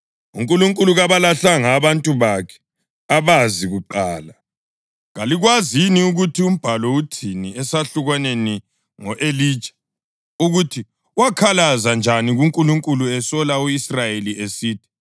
UNkulunkulu kabalahlanga abantu bakhe abazi kuqala. Kalikwazi yini ukuthi uMbhalo uthini esahlukwaneni ngo-Elija, ukuthi wakhalaza njani kuNkulunkulu esola u-Israyeli esithi: